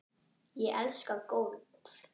Ég elska golf.